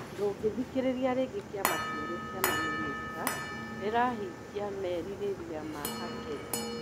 Ndũgĩthikĩrĩria rĩngĩ kĩama kĩerũ kĩa mamĩnĩsta rirahingia merĩgĩrĩra ma akenya?